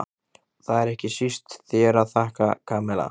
Og það er ekki síst þér að þakka, Kamilla.